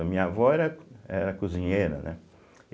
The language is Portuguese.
A minha avó era era cozinheira, né?